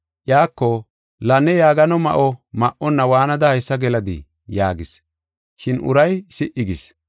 Iyako, ‘La, ne yaagano ma7o ma7onna waanada haysa geladii?’ yaagis. Shin uray si77i gis.